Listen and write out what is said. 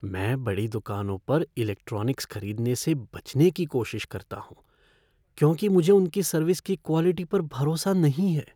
मैं बड़ी दुकानों पर इलेक्ट्रॉनिक्स खरीदने से बचने की कोशिश करता हूँ क्योंकि मुझे उनकी सर्विस की क्वॉलिटी पर भरोसा नहीं है।